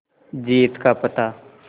जीत का पता